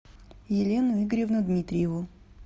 елену игоревну дмитриеву